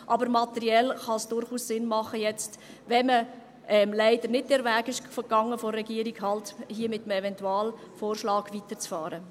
Aber materiell kann es jetzt durchaus Sinn machen – da man leider nicht den Weg der Regierung gegangen ist –, hier halt mit einem Eventualvorschlag weiterzufahren.